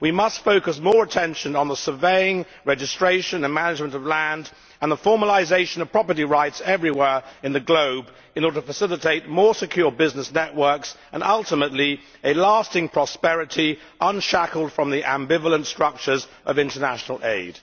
We must focus more attention on the surveying, registration and management of land and the formalisation of property rights everywhere around the globe, in order to facilitate more secure business networks and, ultimately, lasting prosperity, unshackled from the ambivalent structures of international aid.